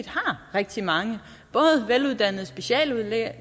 har rigtig mange veluddannede speciallæger